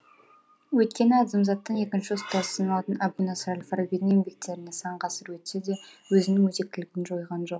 өйткені адамзаттың екінші ұстазы саналатын әбу насыр әл фарабидің еңбектері сан ғасыр өтсе де өзінің өзектілігін жойған жоқ